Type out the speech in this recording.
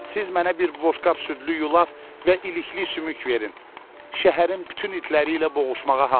Siz mənə bir boşqab südlü yulaf və ilikli sümük verin, şəhərin bütün itləri ilə boğuşmağa hazıram.